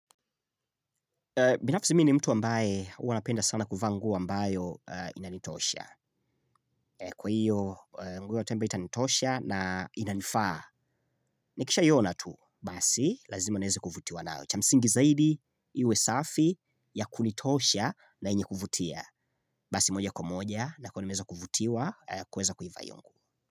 Binafsi mini mtu ambaye uwa napenda sana kuvaa nguo ambayo inanitosha. Kwa hiyo, nguo yote ambayo itanitosha na inanifaa. Nikisha iyona tu, basi, lazimo nieze kuvutiwa nao. Cha msingi zaidi, iwe safi, ya kunitosha na yenye kuvutia. Basi moja kumoja, na kwa nimeza kuvutiwa, kuweza kuivaa hiyo nguo.